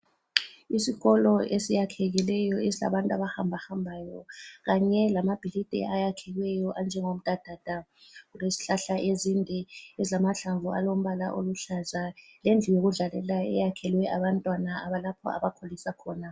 Isikolo esiyakhekileyo esilabantu abahambahambayo kanye lamabhilidi ayakhiweyo anjengomdadada. Kulezihlahla ezinde ezilamahlamvu alombala oluhlaza, lendlu yokudlalela eyakhelwe abantwana abalapho abakholisa khona.